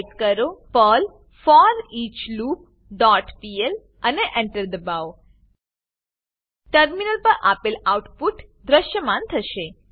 type કરો Perl foreach loop dot PL અને Enter દબાવો ટર્મિનલ પર આપેલ આઉટપુટ દ્રશ્યમાન થશે